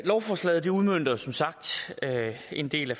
lovforslaget udmønter som sagt en del af